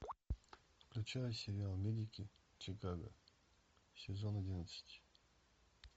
включай сериал медики чикаго сезон одиннадцать